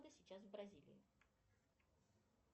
сейчас в бразилии